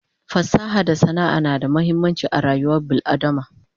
fasaha da sana'a na da muhimmanci a rayuwar bil adama